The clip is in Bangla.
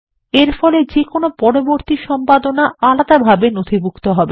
এরফলে যেকোনো পরবর্তী সম্পাদনা আলাদাভাবে নথিভুক্ত হবে